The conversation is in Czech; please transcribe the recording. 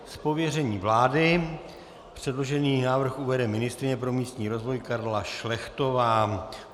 Z pověření vlády předložený návrh uvede ministryně pro místní rozvoj Karla Šlechtová.